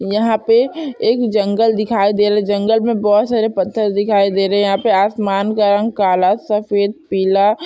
यहाँ पे एक जंगल दिखाई दे रहा है जंगल में बहुत सारे पत्थर दिखाई दे रहें हैं यहाँ आसमान का रंग काला सफ़ेद पीला--